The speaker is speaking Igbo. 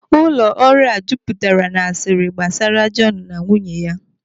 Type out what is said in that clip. Ụlọ ọrụ a jupụtara n'asiri gbasara Jọnu na nwunye ya.